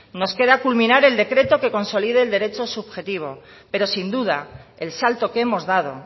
nos queda culminar el decreto que consolide el derecho subjetivo pero sin duda el salto que hemos dado